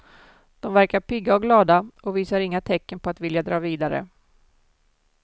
De verkar pigga och glada och visar inga tecken på att vilja dra vidare.